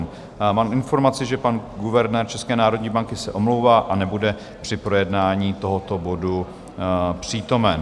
Mám informaci, že pan guvernér České národní banky se omlouvá a nebude při projednání tohoto bodu přítomen.